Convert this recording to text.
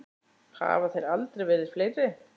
Hafa þeir aldrei verið fleiri.